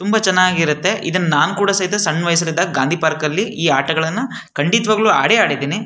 ತುಂಬಾ ಚೆನ್ನಗಿ ಇರೂತೆ ಇದನ್ನ ನಾನ್ ಕೂಡ ಸಹಿತ ಗಾಂಧಿ ಪಾರ್ಕ್ ಅಲ್ಲಿ ಈ ಆಟಗಳನ್ನು ಕಂಡಿತವಾಗ್ಲೂ ಅಡೆ ಆಡಿದ್ದೀನಿ.